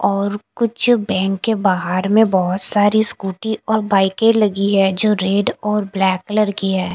और कुछ बैंक के बाहर में बहोत सारी स्कूटी और बाइके लगी है जो रेड और ब्लैक कलर की है।